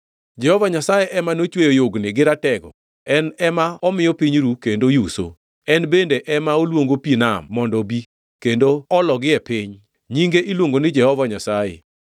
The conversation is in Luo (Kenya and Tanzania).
Jehova Nyasaye ema nochweyo Yugni gi Ratego, en ema omiyo piny ru, kendo yuso, en bende ema oluongo pi nam mondo obi, kendo ologi e piny, nyinge iluongo ni Jehova Nyasaye.